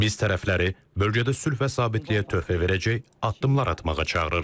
Biz tərəfləri bölgədə sülh və sabitliyə töhfə verəcək addımlar atmağa çağırırıq.